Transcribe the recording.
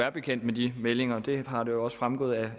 er bekendt med de meldinger det har jo også fremgået af